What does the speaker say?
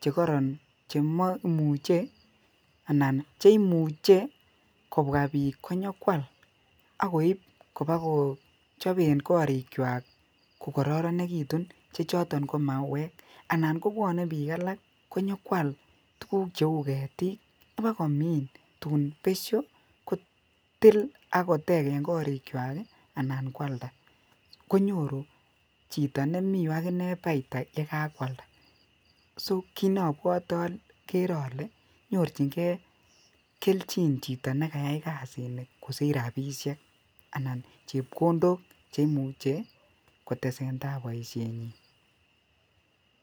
chekoron chemoimuche anan cheimuche kobwa bik konyokwal ak koib kobakochoben korikwak ko kororonekitun che choton ko mauwek anan kobwone bik alak konyo kwal tukuk cheu ketik kobakomin tun besho kotil ak koteken korik kwak kii anan kwalda konyoru chito nemii ireyuu akinee paita yekakwalda, so kit nobwote okere ole nyorchingee keljin chito nekayai kasini kosich rabishek anan chepkondok cheimuche che kotesentai boishenyin.